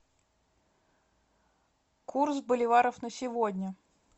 курс боливаров на сегодня